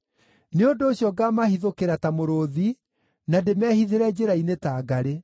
Nĩ ũndũ ũcio ngaamahithũkĩra ta mũrũũthi, na ndĩmehithĩre njĩra-inĩ ta ngarĩ.